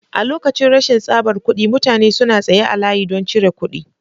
A lokacin rashin tsabar kuɗi mutane suna tsaye a layi don cire kuɗi.